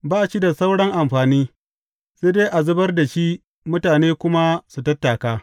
Ba shi da sauran amfani, sai dai a zubar da shi mutane kuma su tattaka.